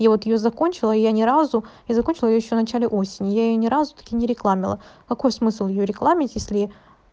и вот её закончила я ни разу я закончила ещё начале осени я её ни разу так и не рекламила какой смысл её рекламить если